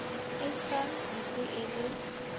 e sa ntse e le